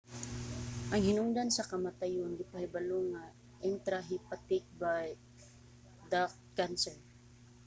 ang hinungdan sa kamatayon gipahibalo nga intrahepatic bile duct cancer